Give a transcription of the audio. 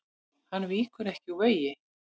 Hann víkur ekki úr vegi.